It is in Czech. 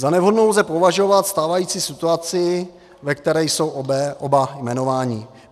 Za nevhodnou lze považovat stávající situaci, ve které jsou oba jmenováni.